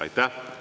Aitäh!